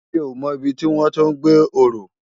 Mi ó mò ibi tiwòn to gbé òrò